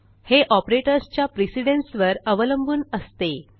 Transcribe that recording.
हे operatorsच्या precedenceवर अवलंबून असते